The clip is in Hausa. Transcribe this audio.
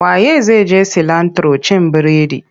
Wa ye zai je cilantro cin bredi?